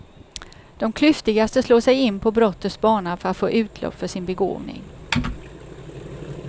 De klyftigaste slår sig in på brottets bana för att få utlopp för sin begåvning.